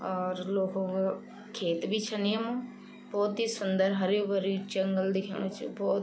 और लोखु क् खेत भी छन यमा भोत ही सुंदर हर्यूं-भर्यूं जंगल दिखेणु च भोत --